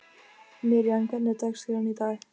Miriam, hvernig er dagskráin í dag?